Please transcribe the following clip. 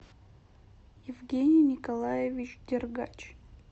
евгений николаевич дергач